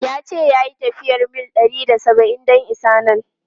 Ya ce ya yi tafiyar mil ɗari da saba’in don isa nan.